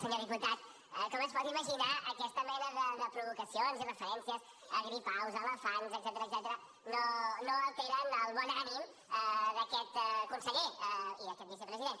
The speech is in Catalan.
senyor diputat com es pot imaginar aquesta mena de provocacions i referències a gripaus elefants etcètera no alteren el bon ànim d’aquest conseller i d’aquest vicepresident